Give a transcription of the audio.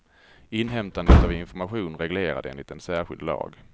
Inhämtandet av information reglerad enligt en särskild lag.